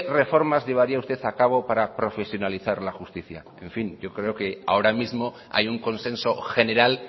reformas llevaría usted a cabo para profesionalizar la justicia en fin yo creo que ahora mismo hay un consenso general